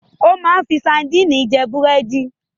O máa ń fi sadínì jẹ búrẹ́dì.